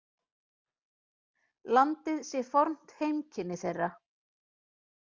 Landið sé fornt heimkynni þeirra.